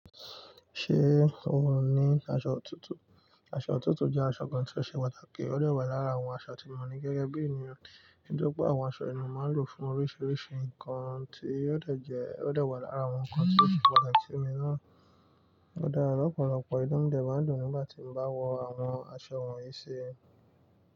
Ṣé o ní aṣọ ọ̀tútù? Aṣọ ọ̀tútù jẹ́ aṣọ kan tí ó ṣe pàtàkì, ó de wá lára àwọn aṣọ tí mo ní gẹ́gẹ́ bí ènìyàn. Nítori pé àwọn aṣọ yii ni mo máa ń lò fún oríṣiríṣi nǹkan tí óò dẹ̀ jẹ́, ò de wá lára àwọn nǹkan tí óò ṣe pàtàkì ní mi náà. Ó dá lọ́pọ̀lọpọ̀ inú mi dè má ndun nígbà tí mo bá wọ àwọn aṣọ wọ̀nyí ṣi.